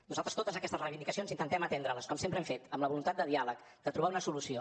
nosaltres totes aquestes reivindicacions intentem atendre les com sempre hem fet amb la voluntat de diàleg de trobar una solució